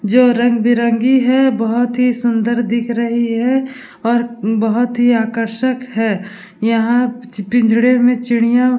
जो रंग-बिरंगी है बहुत ही सुन्दर दिख रही है और बहुत ही आकर्ष्क है यहाँ पिंजड़े में चिड़िया --